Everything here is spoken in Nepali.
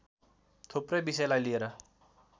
थुप्रै विषयलाई लिएर